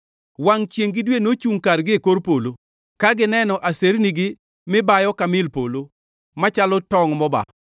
Wangʼ chiengʼ gi dwe nochungʼ kargi e kor polo ka gineno asernigi mibayo; ka mil polo machalo tongʼ mobaa.